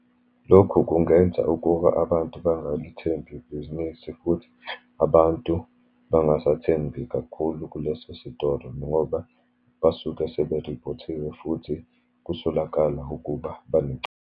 Lokhu kungenza ukuba abantu bangalithembi ibhizinisi, futhi abantu bangasathembi kakhulu kuleso sitoro, ngoba basuke seberiphothiwe, futhi kusolakala ukuba .